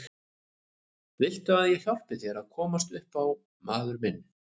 Viltu ekki að ég hjálpi þér að komast upp á maður minn.